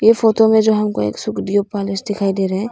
इस फोटो में जो हमको एक सुखदेव पैलेस दिखाई दे रहे--